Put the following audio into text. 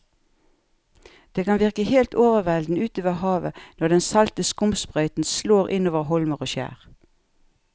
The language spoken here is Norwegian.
Det kan virke helt overveldende ute ved havet når den salte skumsprøyten slår innover holmer og skjær.